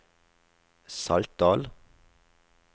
Saltdal